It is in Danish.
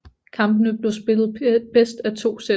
Kampene blev spillet bedst af to sæt